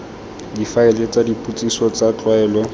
difaele tsa dipotsiso tsa tlwaelo